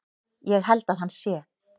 Ég held að hann sé.